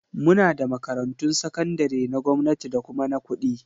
Muna da makarantun sakandare na gwamnati da kuma na kuɗi